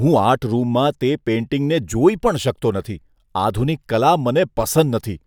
હું આર્ટ રૂમમાં તે પેઈન્ટિંગને જોઈ પણ શકતો નથી, આધુનિક કલા મને પસંદ નથી.